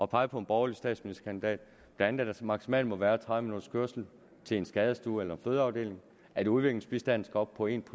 pege på en borgerlig statsministerkandidat blandt andet at der maksimalt må være tredive minutters kørsel til en skadestue eller fødeafdeling at udviklingsbistanden skal op på en